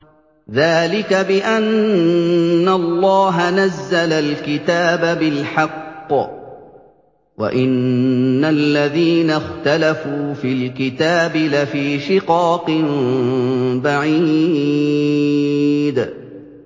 ذَٰلِكَ بِأَنَّ اللَّهَ نَزَّلَ الْكِتَابَ بِالْحَقِّ ۗ وَإِنَّ الَّذِينَ اخْتَلَفُوا فِي الْكِتَابِ لَفِي شِقَاقٍ بَعِيدٍ